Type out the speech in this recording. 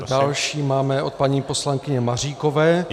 Další máme od paní poslankyně Maříkové.